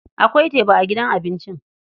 Akwai teba a gidan abincin.